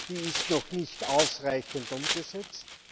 Die ist noch nicht ausreichend umgesetzt.